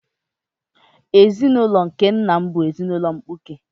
Ezinaụlọ nke nna m bụ ezinaụlọ mkpuke.